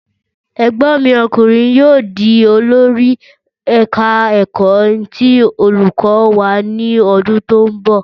Ẹ̀gbọ́n mi ọkùnrin yóò di olori eka-eko ti olùkọ́ wa ní ọdún tó ń bọ̀.